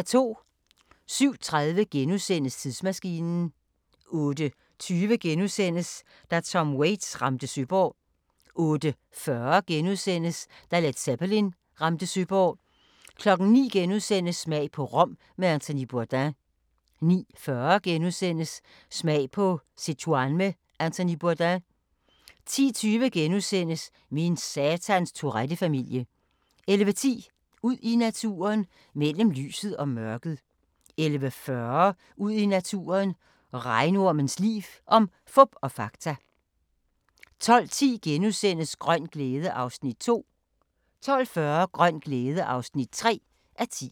07:30: Tidsmaskinen * 08:20: Da Tom Waits ramte Søborg * 08:40: Da Led Zeppelin ramte Søborg * 09:00: Smag på Rom med Anthony Bourdain * 09:40: Smag på Sichuan med Anthony Bourdain * 10:20: Min satans Tourette-familie * 11:10: Ud i naturen: Mellem lyset og mørket 11:40: Ud i naturen: Regnormens liv – om fup og fakta 12:10: Grøn glæde (2:10)* 12:40: Grøn glæde (3:10)